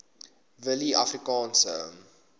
willieafrikaanse